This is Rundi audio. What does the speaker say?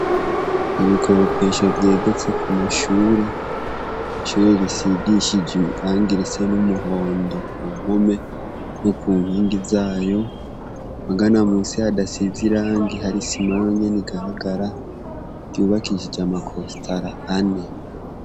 Ibikoropesho vyegetse ku mashure. Ishure risigishijwe irangi risa n'umuhondo ku mpome no ku nkingi zayo. Magana musi hadasize irangi hari isima yonyene igaragara ryubakishije amakostara ane.